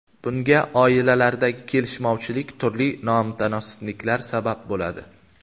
Bunga oilalardagi kelishmovchilik, turli nomutanosibliklar sabab bo‘ladi.